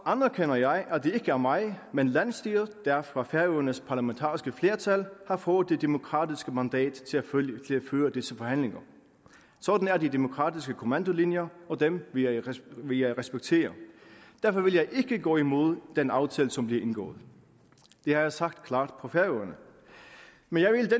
anerkender jeg at det er mig men landsstyret der fra færøernes parlamentariske flertal har fået det demokratiske mandat til at føre disse forhandlinger sådan er de demokratiske kommandolinjer og dem vil jeg respektere derfor vil jeg ikke gå imod den aftale som bliver indgået det har jeg sagt klart på færøerne men